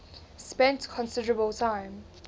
spent considerable time